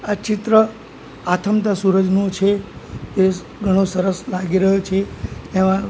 આ ચિત્ર આથમતા સૂરજનું છે એ ઘણો સરસ લાગી રહ્યો છે એમા--